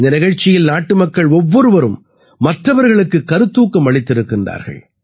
இந்த நிகழ்ச்சியில் நாட்டுமக்கள் ஒவ்வொருவரும் மற்றவர்களுக்குக் கருத்தூக்கம் அளித்திருக்கின்றனர்